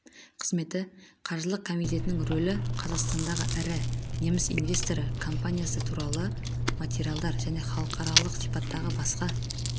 қызметі қаржылық комитетінің рөлі қазақстандағы ірі неміс инвесторы компаниясы туралы материалдар және халықаралық сипаттағы басқа